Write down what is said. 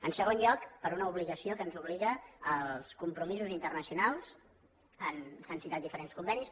en segon lloc per una obligació a què ens obliguen els compromisos internacionals s’han citat diferents convenis